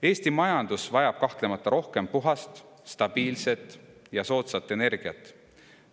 Eesti majandus vajab kahtlemata rohkem puhast, stabiilset ja soodsat energiat.